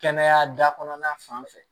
Kɛnɛya da kɔnɔna fan fɛ